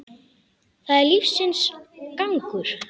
Það er lífsins gangur.